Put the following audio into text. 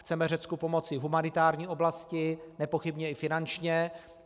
Chceme Řecku pomoci v humanitární oblasti, nepochybně i finančně.